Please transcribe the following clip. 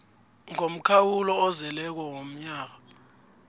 ngomkhawulo ozeleko womnyaka